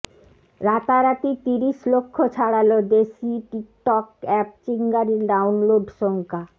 রাতারাতি তিরিশ লক্ষ ছাড়াল দেশি টিকটক অ্যাপ চিঙ্গারির ডাউনলোড সংখ্যা